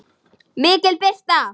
MIKIL BIRTA